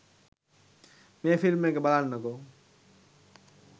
මේ ෆිල්ම් එක බලන්නකෝ